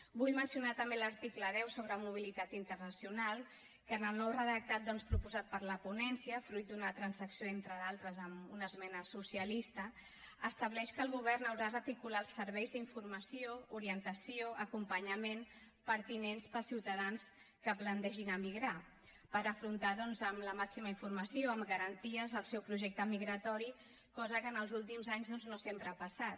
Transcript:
vull mencionar l’article deu sobre mobilitat internacional que en el nou redactat doncs proposat per la ponència fruit d’una transacció entre d’altres amb una esmena socialista estableix que el govern haurà d’articular els serveis d’informació orientació acompanyament pertinents per als ciutadans que es plantegin emigrar per afrontar amb la màxima informació amb garanties el seu projecte emigratori cosa que en els últims anys no sempre ha passat